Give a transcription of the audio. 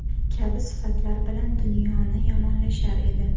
kabi sifatlar bilan dunyoni yomonlashar edi.